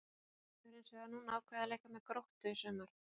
Hann hefur hins vegar núna ákveðið að leika með Gróttu í sumar.